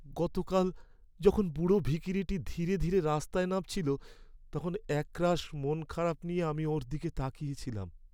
গতকাল যখন বুড়ো ভিখিরিটি ধীরে ধীরে রাস্তায় নামছিল তখন একরাশ মনখারাপ নিয়ে আমি ওর দিকে তাকিয়ে ছিলাম।